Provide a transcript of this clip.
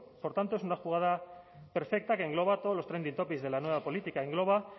por tanto es una jugada perfecta que engloba todos los trending topics de la nueva política engloba